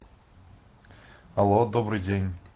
алло добрый день